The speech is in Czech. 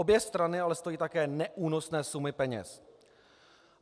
Obě strany ale stojí také neúnosné sumy peněz.